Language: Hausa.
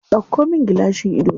Ɗauko min gilashin idona.